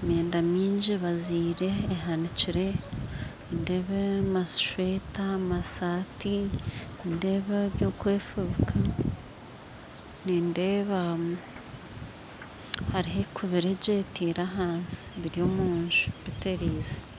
emyenda mingi ebaziire ehanikyire, nindeeba amasweta amasaati, nindeeba ebyokwefubika nindeeba hariho ekubire gye etiire ahansi biryo omu nju biterize